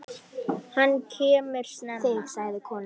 Hann kemur snemma.